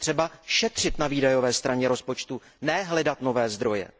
Je třeba šetřit na výdajové straně rozpočtu, ne hledat nové zdroje.